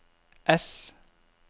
S